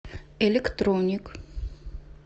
электроник